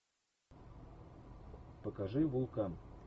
покажи вулкан